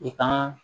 I ka